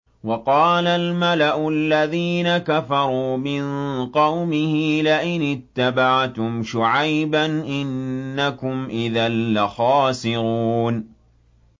وَقَالَ الْمَلَأُ الَّذِينَ كَفَرُوا مِن قَوْمِهِ لَئِنِ اتَّبَعْتُمْ شُعَيْبًا إِنَّكُمْ إِذًا لَّخَاسِرُونَ